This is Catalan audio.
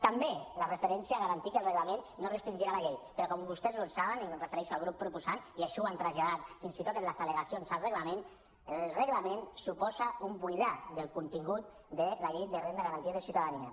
també la referència a garantir que el reglament no restringirà la llei però com vostès saben i em refereixo al grup proposant i això ho han traslladat fins i tot a les al·legacions al reglament el reglament suposa un buidar de contingut la llei de renda garantida de ciutadania